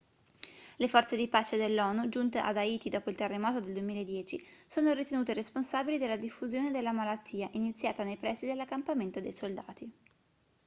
le forze di pace dell'onu giunte ad haiti dopo il terremoto del 2010 sono ritenute responsabili della diffusione della malattia iniziata nei pressi dell'accampamento dei soldati